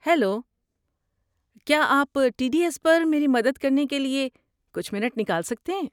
Hello, کیا آپ T D S پر میری مدد کرنے کے لیے کچھ منٹ نکال سکتے ہیں؟